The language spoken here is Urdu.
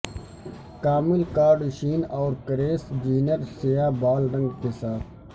کامل کارڈشین اور کریس جینر سیاہ بال رنگ کے ساتھ